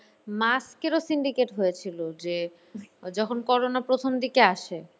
mask এরও syndicate হয়েছিল যখন corona প্রথম দিকে আসে।